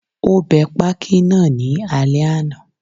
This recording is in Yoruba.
Ó bẹ pákí náà ní alẹ́ àná